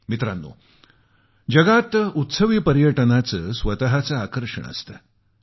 मित्रानो जगात उत्सवी पर्यटनाचं स्वतःचं आकर्षण असतं